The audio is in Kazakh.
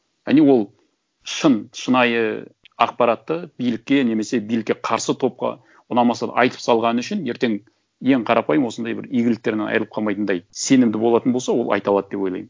а не ол шын шынайы ақпаратты билікке немесе билікке қарсы топқа ұнамаса да айтып салғаны үшін ертең ең қарапайым осындай бір игіліктерінен айырылып қалмайтындай сенімді болатын болса ол айта алады деп ойлаймын